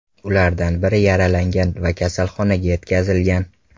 Ulardan biri yaralangan va kasalxonaga yetkazilgan.